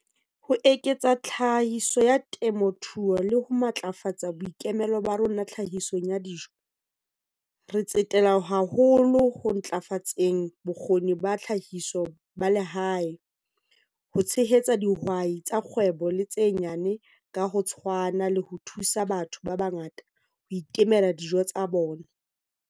Ho eketsa tlhahiso ya temothuo le ho matlafatsa boikemelo ba rona tlhahisong ya dijo, re tsetela haholo ho ntlafatseng bokgoni ba tlhahiso ba lehae, ho tshehetsa dihwai tsa kgwebo le tse nyane ka ho tshwana le ho thusa batho ba bangata ho itemela dijo tsa bona.